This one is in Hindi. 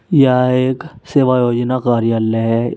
यह एक सेवा योजना कार्यालय है।